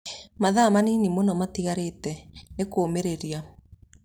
mathaa manini mũno matigarĩte…..nĩkũmĩrĩria!!!